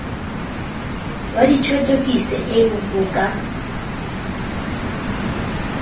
wa dithothokiso ee ho ka